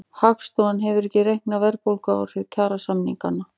Hagstofan hefur ekki reiknað verðbólguáhrif kjarasamninganna